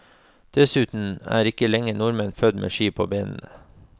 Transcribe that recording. Dessuten er ikke lenger nordmenn født med ski på benene.